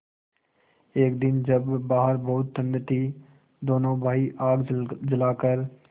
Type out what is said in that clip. एक दिन जब बाहर बहुत ठंड थी दोनों भाई आग जलाकर